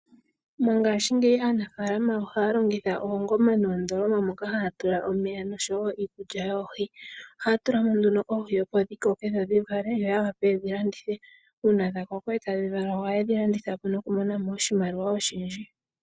Mongashingeyi aanafaalama ohaya longitha oongoma noondoloma moka haya tula omeya noshowo iikulya yoohi. Ohaya tula mo nduno oohi, opo dhikoke dho dhi vale yo yavule yedhi landithe. Uuna dha koko etadhi vala ohaye dhi landitha po koshimaliwa oshindji.